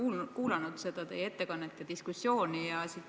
Olen kuulanud teie ettekannet ja siinset diskussiooni.